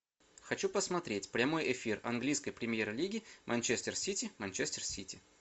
хочу посмотреть прямой эфир английской премьер лиги манчестер сити манчестер сити